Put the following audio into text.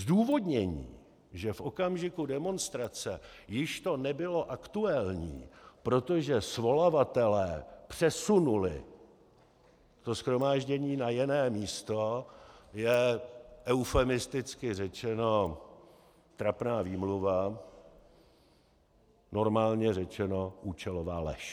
Zdůvodnění, že v okamžiku demonstrace, již to nebylo aktuální, protože svolavatelé přesunuli to shromáždění na jiné místo, je eufemisticky řečeno trapná výmluva, normálně řečeno účelová lež.